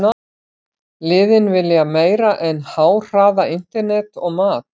Liðin vilja meira en háhraða internet og mat.